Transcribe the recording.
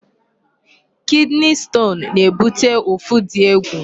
Kidney stone na-ebute ụfụ dị egwu.